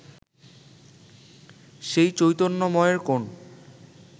সেই চৈতন্যময়ের কোন